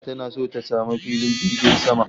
Kowace jiha tana so ta samu filin jirgin sama